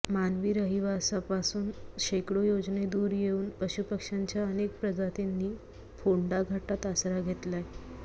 मानवी रहिवासापासून शेकडो योजने दूर येऊन पशुपक्ष्यांच्या अनेक प्रजातींनी फोंडाघाटात आसरा घेतलाय